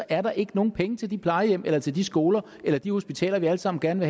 er der ikke nogen penge til de plejehjem eller til de skoler eller de hospitaler vi alle sammen gerne